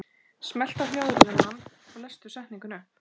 Á hjólum léleg græja.